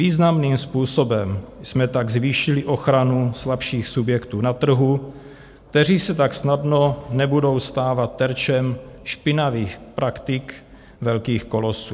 Významným způsobem jsme tak zvýšili ochranu slabších subjektů na trhu, které se tak snadno nebudou stávat terčem špinavých praktik velkých kolosů.